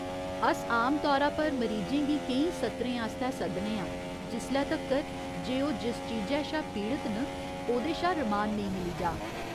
अस आमतौरा पर मरीजें गी केईं सत्रें आस्तै सद्दने आं जिसले तक्कर जे ओह् जिस चीजै शा पीड़त न ओह्‌दे शा रमान नेईं मिली जाऽ।